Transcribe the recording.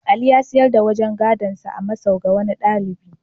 Ali ya sayar da wajen gadonsa a masau ga wani ɗalibai.